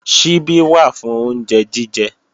Ṣíbí wà fún oúnjẹ jíjẹ